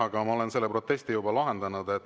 Aga ma olen selle protesti juba lahendanud.